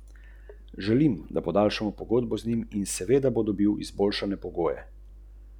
Fontana je zasnovana kot spirala.